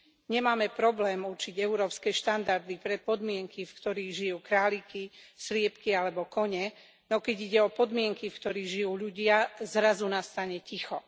Nemáme problém určiť európske štandardy pre podmienky, v ktorých žijú králiky, sliepky alebo kone, no keď ide o podmienky, v ktorých žijú ľudia, zrazu nastane ticho.